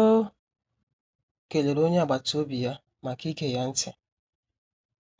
O kelere onye agbata obi ya maka ige ya ntị,